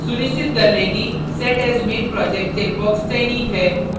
सुनिश्चित कर लें कि set as main project checkbox चयनित है